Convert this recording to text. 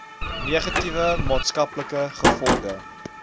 negatiewe maatskaplike gevolge